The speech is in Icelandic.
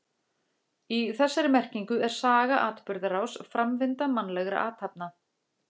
Í þessari merkingu er saga atburðarás, framvinda mannlegra athafna.